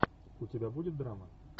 у тебя будет драма